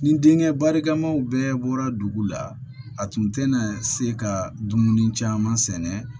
Nin denkɛ barikamaw bɛɛ bɔra dugu la a tun tɛna se ka dumuni caman sɛnɛ